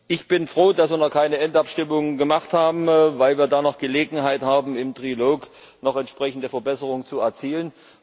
Ich bin froh, dass wir noch keine Endabstimmung gemacht haben, weil wir dann noch Gelegenheit haben, im Trilog noch entsprechende Verbesserungen zu erzielen.